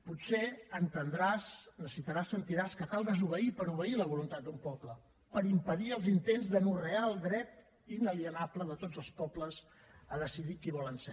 potser entendràs necessitaràs sentiràs que cal desobeir per obeir la voluntat d’un poble per impedir els intents d’anorrear el dret inalienable de tots els pobles a decidir qui volen ser